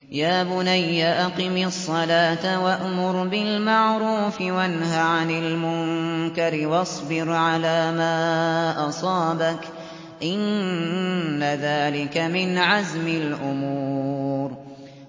يَا بُنَيَّ أَقِمِ الصَّلَاةَ وَأْمُرْ بِالْمَعْرُوفِ وَانْهَ عَنِ الْمُنكَرِ وَاصْبِرْ عَلَىٰ مَا أَصَابَكَ ۖ إِنَّ ذَٰلِكَ مِنْ عَزْمِ الْأُمُورِ